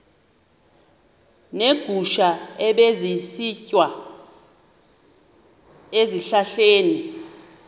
neegusha ebezisitya ezihlahleni